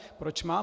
Proč mám...